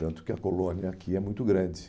Tanto que a colônia aqui é muito grande.